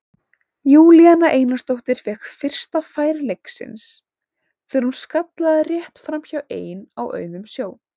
Júlíana Einarsdóttir fékk fyrsta færi leiksins þegar hún skallaði rétt framhjá ein á auðum sjó.